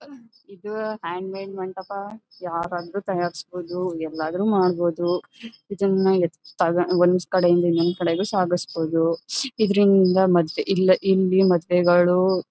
ಇದು hand made ಮಂಟಪ ಯಾವಾಗಲೂ ತಯಾರಿಸಬಹುದು ಏನಾದ್ರೂ ಮಾಡಬಹುದು ಇದನ ಒಂದು ಕಡೆಯಿಂದ ಇನ್ನೊಂದು ಕಡೆಗೂ ಸಾಗಿಸಬಹುದು ಇದರಿಂದ ಮತ್ತೆ ಇಲ್ಲಿಂದ ಮತ್ತೆಗಳು